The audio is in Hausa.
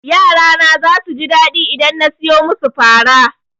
Yara na zasu ji daɗi idan na soya musu fara.